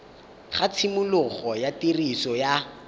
ga tshimologo ya tiriso ya